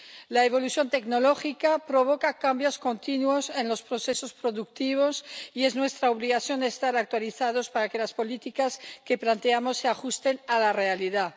La evolución tecnológica provoca cambios continuos en los procesos productivos, y es nuestra obligación estar actualizados para que las políticas que planteamos se ajusten a la realidad.